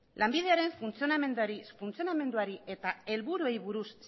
lanbideren funtzionamenduari eta helburuei buruz